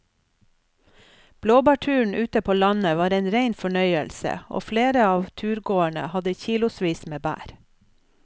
Blåbærturen ute på landet var en rein fornøyelse og flere av turgåerene hadde kilosvis med bær.